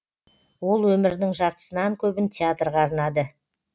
ол өмірінің жартысынан көбін театрға арнады